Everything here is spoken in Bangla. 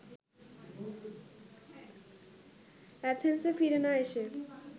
অ্যাথেন্সে ফিরে না এসে